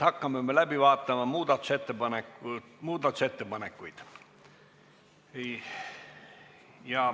Hakkame läbi vaatama muudatusettepanekuid.